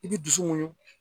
I t'i dusu muɲun.